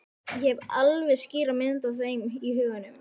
Ég hef alveg skýra mynd af þeim í huganum.